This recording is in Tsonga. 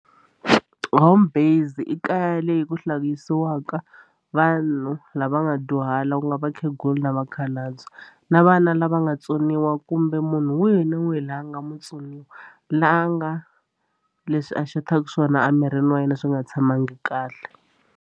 Home based i kaya leyi ku hlayisiwaka vanhu lava nga dyuhala ku nga vakhegula na vakhalabye na vana lava nga tsoniwa kumbe munhu wihi ni wihi la a nga mutsoniwa la nga leswi a xothaka swona a mirini wa yena leswi nga tshamangi kahle.